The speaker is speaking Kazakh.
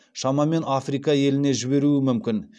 шамамен африка еліне жіберуі мүмкін